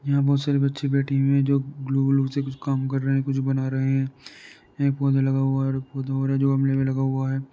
यहाँ बहोत सारे बच्चे बैठे हुए हैं जो ग्लू-व्लू से कुछ काम कर रहे हैंकुछ बना रहे हैं। यहाँ एक पौधा लगा हुआ हैऔर एक पौधा और है जो गमले में लगा हुआ है।